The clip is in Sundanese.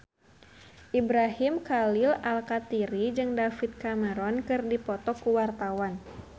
Ibrahim Khalil Alkatiri jeung David Cameron keur dipoto ku wartawan